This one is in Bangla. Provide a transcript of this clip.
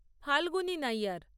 ফাল্গুনী নাইয়ার